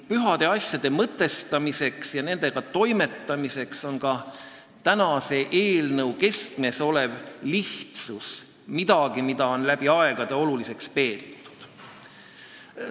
Pühade asjade mõtestamisel ja nendega toimetamisel on lihtsus – mis on ka tänase eelnõu keskmes – midagi, mida on läbi aegade oluliseks peetud.